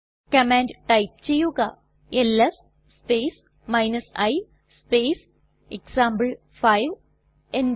command type ചെയ്യുക LS space i space example five enter